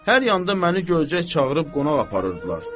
Hər yanda məni görcək çağırıb qonaq aparırdılar.